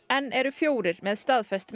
enn eru fjórir með staðfest